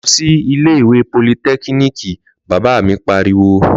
Lọ sí ilé ìwé politẹ́kíníìkì! Bàbá mi pariwo.